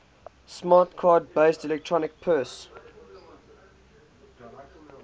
smart card based electronic purse